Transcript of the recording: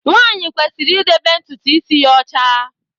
Nwanyi kwesịrị idebe ntụtụ isi ya ọcha.